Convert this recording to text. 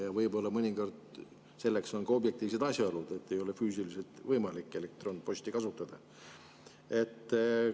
Ja võib-olla mõnikord selleks on ka objektiivsed asjaolud, ei ole füüsiliselt võimalik elektronposti kasutada.